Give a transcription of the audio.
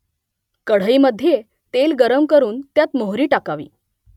कढईमध्ये तेल गरम करून त्यात मोहरी टाकावी